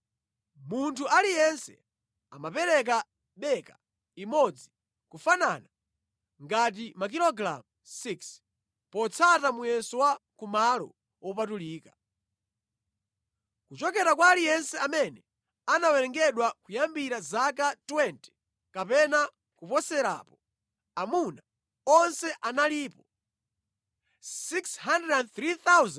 Munthu aliyense amapereka beka imodzi, kufanana ngati makilogalamu 6, potsata muyeso wa ku malo wopatulika. Kuchokera kwa aliyense amene anawerengedwa kuyambira zaka 20 kapena kuposerapo, amuna onse analipo 603,550.